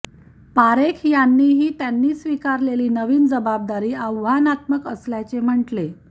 पारेख यांनीही त्यांनी स्वीकारलेली नवीन जबाबदारी आव्हानात्मक असल्याचे म्हटले